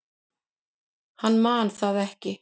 Hann man það ekki.